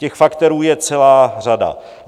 Těch faktorů je celá řada.